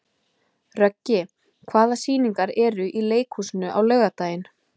Röggi, hvaða sýningar eru í leikhúsinu á laugardaginn?